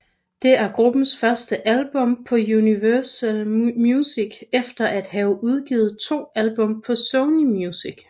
Det er gruppens første album på Universal Music efter at have udgivet to album på Sony Music